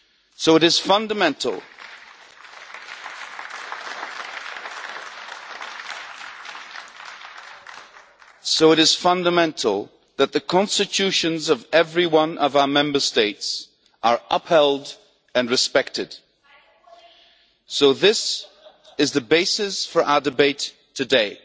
So it is fundamental that the constitutions of every one of our Member States are upheld and respected, and this is the basis for our debate today.